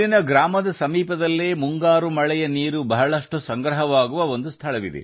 ಗ್ರಾಮದ ಸಮೀಪದಲ್ಲಿ ಮಳೆಗಾಲದಲ್ಲಿ ಸಾಕಷ್ಟು ನೀರು ಸಂಗ್ರಹವಾಗುತ್ತಿತ್ತು